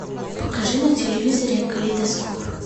покажи на телевизоре калейдоскоп